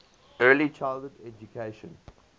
early childhood education